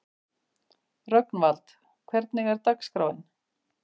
Rögnvald, hvernig er dagskráin?